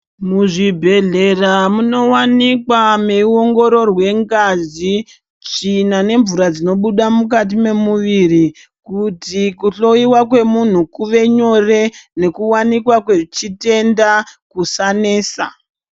Muzvibhedhlera munowanikwa meyi ongororwe ngazi tsvina ne mvura dzinobuda mukati me muviri kuti ku hloyiwa kwemunhu kuve nyore uye neku wanikwa kwe chitenda kusanesa.